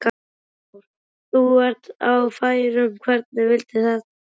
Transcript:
Hafþór: Og þú ert á færum, hvernig vildi þetta til?